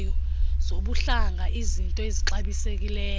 zobuhlanga iiznto ezixabisekileyo